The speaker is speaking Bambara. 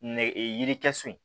Nɛgɛ yirikɛ so in